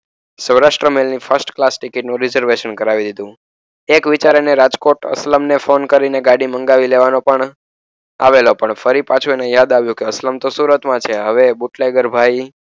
સૌરાષ્ટ્રની first class ticket નું reservation કરાવી દીધું. એક વિચાર અને રાજકોટ અસલમને ફોન કરીને ગાડી મંગાવી લેવાનું પણ આવેલો. પણ ફરી પાછું એને યાદ આવ્યું કે અસલમ તો સુરતમાં છે. હવે બુટલેગર ભાઈ